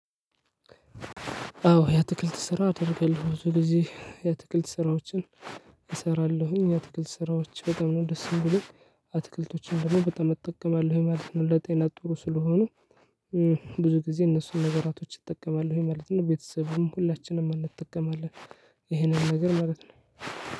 አዎ የአትክልት ስራ አደርጋለሁ ብዙ ጊዜ የአትክልት ስራዎችን እሰራለሁኝ የአትክልት ስራዎች በጣም ነው ደስ የሚሉኝ። አትክልቶችን ደግሞ በጣም እጠቀማለሁኝ ማለት ነው። ለጤና ጥሩ ስለሆኑ። ብዙ ጊዜ እነሱን ነገራቶች እጠቀማለሁኝ ማለት ነው። ቤተሰብም ሁላችንም እንጠቀማለን። ይሄንን ነገር ማለት ነው።